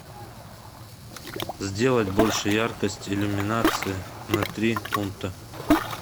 сделать больше яркость иллюминации на три пункта